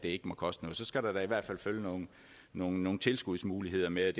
ikke må koste noget så skal der da i hvert fald følge nogle nogle tilskudsmuligheder med